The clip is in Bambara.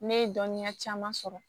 Ne ye dɔnniya caman sɔrɔ